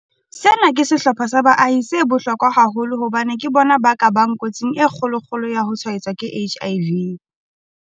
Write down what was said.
Sena ke sehlopha sa baahi se bohlokwa haholo hobane ke bona ba ka bang kotsing e kgolo-kgolo ya ho tshwaetswa ke HIV.